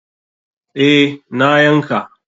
Eh, na yanka.